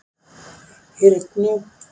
Hyrnu